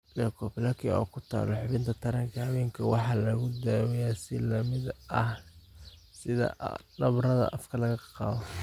Leukoplakia oo ku taal xubinta taranka haweenka waxaa lagu daaweeyaa si la mid ah sida nabarrada afka laga qaato.